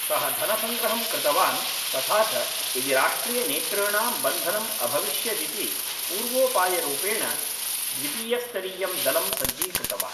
सः धनसङ्ग्रहं कृतवान्, तथा च यदि राष्ट्रियनेतॄणां बन्धनम् अभविष्यदिति पूर्वोपायरूपेण द्वितीयस्तरीयं दलं सज्जीकृतवान्।